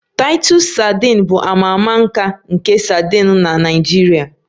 Titus sadin bụ a ma ama ika nke sadin na Naijiria